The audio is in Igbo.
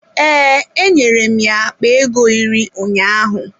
Ee, enwere m ya akpa ego iri ụnyaahụ.